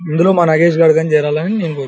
ఇందులో మా నాగేష్ గాడు కూడా చేరాలి అని నేను కోరు --